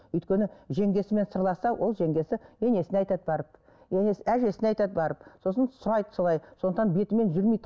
өйткені жеңгесімен сырласса ол жеңгесі енесіне айтады барып енесі әжесіне айтады барып сосын сұрайды солай сондықтан бетімен жүрмейді